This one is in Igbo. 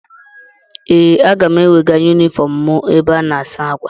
Ee, aga m ewega yunifọm mụ ebe a na-asa ákwà.